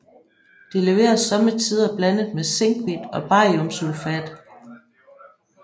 Det leveres sommetider blandet med zinkhvidt og bariumsulfat